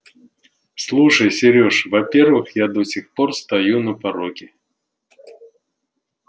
слушай серёж во-первых я до сих пор стою на пороге